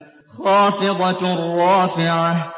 خَافِضَةٌ رَّافِعَةٌ